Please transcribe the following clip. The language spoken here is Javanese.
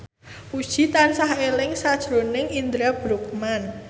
Puji tansah eling sakjroning Indra Bruggman